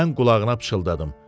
Mən qulağına pıçıldadım.